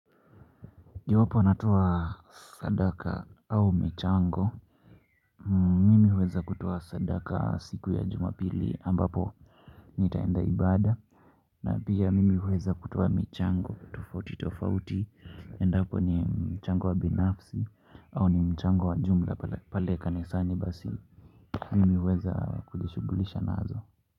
Iwapo natoa sadaka au michango. Mimi huweza kutoa sadaka siku ya Jumapili ambapo nitaenda ibada na pia mimi huweza kutoa michango tofauti tofauti. Endapo ni mchango wa binafsi au ni mchango wa jumla pale kanisani basi. Mimi huweza kujishughulisha naazo.